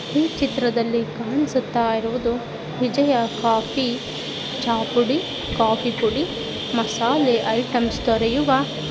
ಈ ಚಿತ್ರದಲ್ಲಿ ಕಾಣಿಸುತ್ತಿರುವುದು ವಿಜಯ ಕಾಫೀ ಚಾ ಪುಡಿ ಕಾಫೀ ಪುಡಿ ಮಸಾಲೆ ಐಟಮ್ಸ್ ದೊರೆಯುವ--